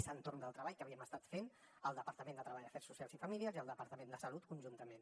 és entorn del treball que havíem estat fent el departament de treball afers socials i famílies i el departament de salut conjuntament